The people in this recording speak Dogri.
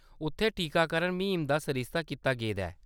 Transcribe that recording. उत्थेै टीकाकरण म्हीम दा सरिस्ता कीता गेदा ऐ।